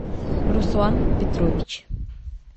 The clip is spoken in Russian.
руслан петрович